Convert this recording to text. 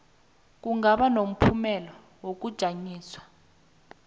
kungaba nomphumela wokujanyiswa